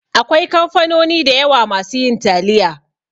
Akwai kamfanoni da yawa masu yin taliya